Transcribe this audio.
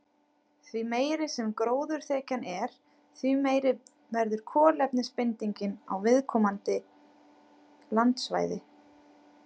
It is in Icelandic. Því meiri sem gróðurþekjan er, því meiri verður kolefnisbindingin á viðkomandi landsvæði.